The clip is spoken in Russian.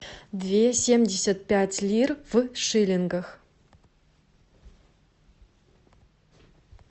две семьдесят пять лир в шиллингах